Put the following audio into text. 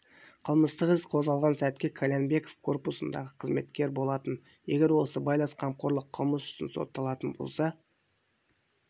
қылмыстық іс қозғалған сәтке қальянбеков корпусындағы мемқызметкер болатын егер ол сыбайлас жемқорлық қылмыс үшін соталатын болса